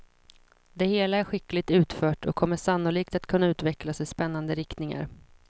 Det hela är skickligt utfört och kommer sannolikt att kunna utvecklas i spännande riktningar.